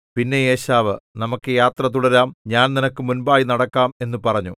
പിന്നെ ഏശാവ് നമുക്കു യാത്ര തുടരാം ഞാൻ നിനക്ക് മുൻപായി നടക്കാം എന്നു പറഞ്ഞു